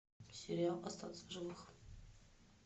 сериал остаться в живых